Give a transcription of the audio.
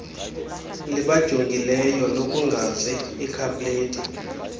libajongileyo lokungazi ikhapleti